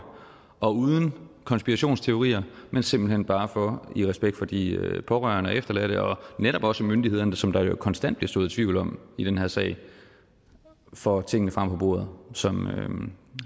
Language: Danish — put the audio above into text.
og uden konspirationsteorier men simpelt hen bare for i respekt for de pårørende og efterladte og netop også myndighederne som der jo konstant bliver sået tvivl om i den her sag at få tingene frem på bordet som